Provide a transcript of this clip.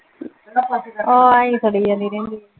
. ਆਹ ਆਈਂ ਸੜੀ ਜਾਂਦੀ ਰਹਿੰਦੀ।